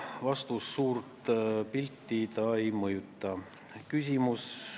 Vastus: suurt pilti see ei mõjuta.